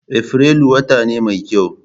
Afrilu wata ne mai kyau